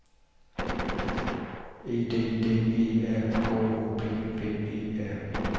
E D D E R K O P P E R